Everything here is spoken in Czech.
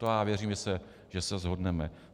To já věřím, že se shodneme.